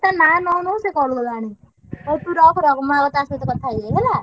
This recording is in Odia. ତା ନାଁ ନଉ ନଉ ସିଏ call କଲାଣି। ହଉ ତୁ ରଖ ରଖ ମୁଁ ଆଗ ତା ସହିତ କଥା ହେଇଯାଏ ହେଲା।